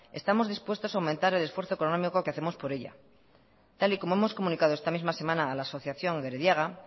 estamos dispuestos a aumentar el esfuerzo económico que hacemos por ella tal y como hemos comunicado esta misma semana a la asociación gerediaga